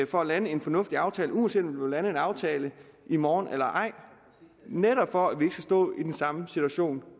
for at lande en fornuftig aftale uanset vil lande en aftale i morgen eller ej netop for at vi ikke skal stå i den samme situation